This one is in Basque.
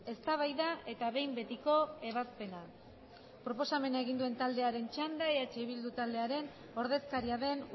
eztabaida eta behin betiko ebazpena proposamena egin duen taldearen txanda eh bildu taldearen ordezkaria den